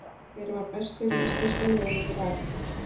Hver var bestur í íslenska liðinu í dag?